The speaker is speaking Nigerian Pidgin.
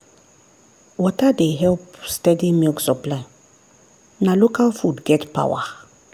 water dey help steady milk supply na local food get power.